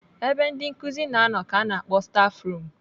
Ebe ndị nkụzi na-anọ ka ana akpọ stafrum.